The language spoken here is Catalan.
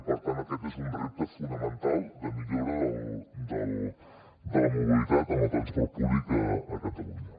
i per tant aquest és un repte fonamental de millora de la mobilitat en el transport públic a catalunya